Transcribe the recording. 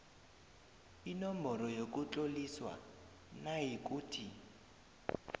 inomboro yokutloliswa nayikuthi